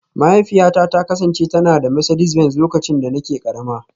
Mahaifiyata ta kasance tana da Mercedes Benz lokacin da nake karama